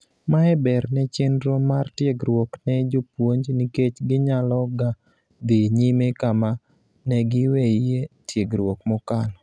Mae ber ne chendro mar tiegruok ne jopuonj nikech ginyaloga dhii nyime kama negiweyie tiegruok mokalo.